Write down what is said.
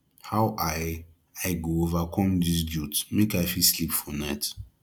how i i go overcome dis guilt make i fit sleep for night